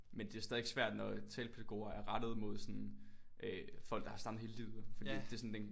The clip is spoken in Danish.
Men det er stadigvæk svært når talepædagoger er rettet mod sådan øh folk der har stammet hele livet øh fordi at det er sådan den